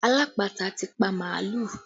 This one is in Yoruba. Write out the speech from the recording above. Alápatà ti pa màálù